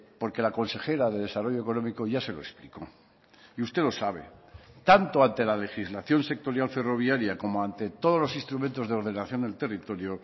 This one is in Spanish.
porque la consejera de desarrollo económico ya se lo explicó y usted lo sabe tanto ante la legislación sectorial ferroviaria como ante todos los instrumentos de ordenación del territorio